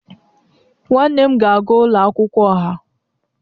Nwanne m na-aga ụlọ akwụkwọ ọha